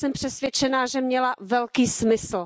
Jsem přesvědčená, že měla velký smysl.